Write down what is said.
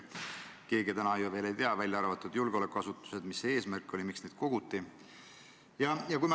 Keegi, välja arvatud julgeolekuasutused, ju ei tea, mis see eesmärk oli, miks neid koguti.